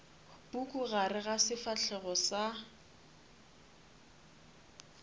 puku gare ga sefahlego sa